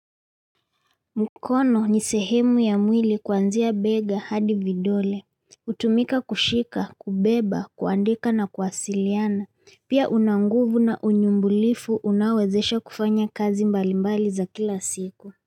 Mkono ni sehemu ya mwili kuanzia bega hadi vidole hutumika kushika kubeba kuandika na kuwasiliana pia una nguvu na unyumbulifu unaowezesha kufanya kazi mbalimbali za kila siku.